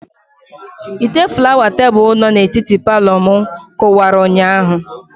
Ite flawa tebụl no na etiti Palọ mụ kụwara ụnyaahụ